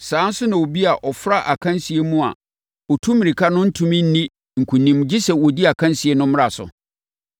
Saa ara nso na obi a ɔfra akansie mu a ɔtu mmirika no rentumi nni nkonim gye sɛ ɔdi akansie no mmara so.